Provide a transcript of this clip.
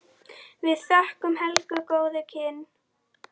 Við þökkum Helgu góð kynni.